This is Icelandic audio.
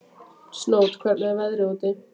Snót, hvernig er veðrið úti?